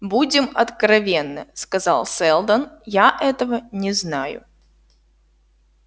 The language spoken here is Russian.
будем откровенны сказал сэлдон я этого не знаю